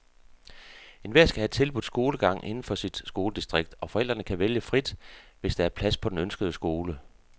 Enhver skal have tilbudt skolegang inden for sit skoledistrikt, og forældre kan vælge frit, hvis der er plads på den ønskede skole.